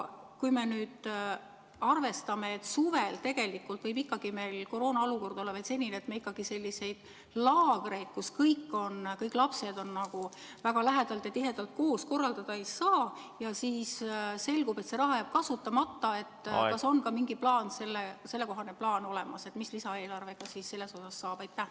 Kui me arvestame, et suvel tegelikult võib meil koroonaolukord olla veel selline, et me selliseid laagreid, kus kõik lapsed on väga lähedalt ja tihedalt koos, korraldada ei saa ja kui siis selgub, et see raha jääb kasutamata, siis kas on ka mingi plaan olemas, mis lisaeelarvega selles osas saab?